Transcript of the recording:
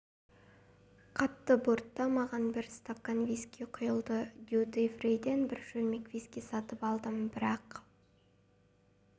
қатты бортта маған бір стақан виски құйылды дьюти фриден бір шөлмек виски сатып алдым бірақ